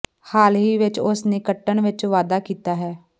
ਹਾਲ ਹੀ ਵਿਚ ਉਸ ਨੇ ਕੱਟਣ ਵਿਚ ਵਾਧਾ ਕੀਤਾ ਹੈ